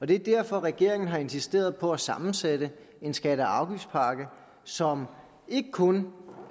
det er derfor regeringen har insisteret på at sammensætte en skatte og afgiftspakke som ikke kun